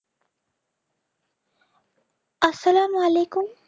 আসসালামু আলাইকুম